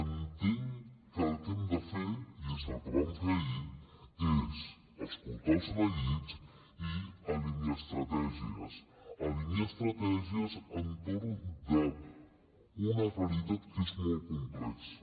entenc que el que hem de fer i és el que vam fer ahir és escoltar els neguits i alinear estratègies alinear estratègies entorn d’una realitat que és molt complexa